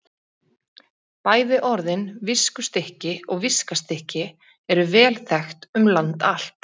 Bæði orðin viskustykki og viskastykki eru vel þekkt um land allt.